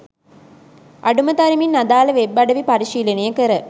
අඩුම තරමින් අදාළ වෙබ් අඩවි පරිශීලනය කර